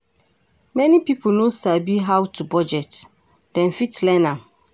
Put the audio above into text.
Many pipo no sabi how to bugdet, dem fit learn am